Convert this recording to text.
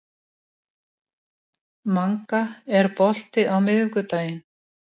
Manga, er bolti á miðvikudaginn?